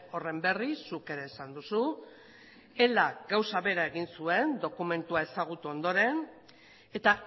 horren berri zuk ere esan duzu elak gauza bera egin zuen dokumentua ezagutu ondoren eta